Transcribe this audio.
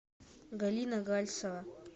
галина гальцева